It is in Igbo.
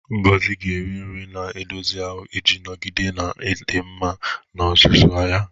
Ngozi ga-eri nri na-edozi ahụ iji nọgide na-adị mma n'ozuzu ya.